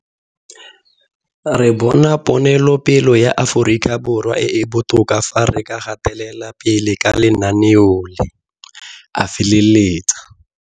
Re bona ponelopele ya Afrikaborwa e e botoka fa re ka gatelela pele ka lenaneo le, a feleletsa.